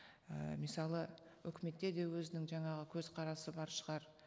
і өкіметте де өзінің жаңағы көзқарасы бар шығар